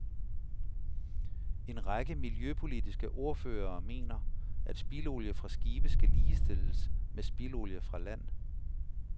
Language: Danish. En række miljøpolitiske ordførere mener, at spildolie fra skibe skal ligestilles med spildolie fra land.